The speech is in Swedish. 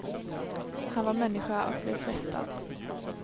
Han var människa och blev frestad.